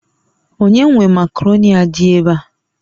Onye nwe Makaroni a di ebea?